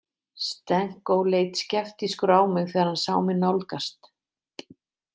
Stenko leit skeptískur á mig þegar hann sá mig nálgast.